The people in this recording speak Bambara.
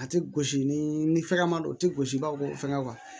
A tɛ gosi ni fɛngɛ man di o tɛ gosi i b'a fɔ ko fɛngɛ